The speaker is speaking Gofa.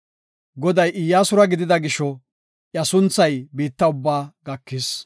Goday Iyyasura gidida gisho, iya sunthay biitta ubbaa gakis.